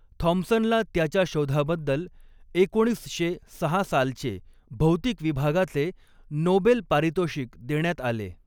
थॉमसनला त्याच्या शोधाबद्दल एकोणीस शे सहा सालचे भौतिक विभागाचे नोबेल पारितोषिक देण्यात आले.